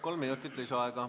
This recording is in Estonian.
Kolm minutit lisaaega.